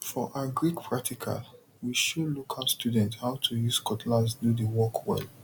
for agric practical we show local students how to use cutlass do the work well